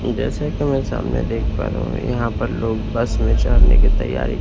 जैसा कि मैं सामने देख पा रहा हूं यहां पर लोग बस में चढ़ने की तैयारी--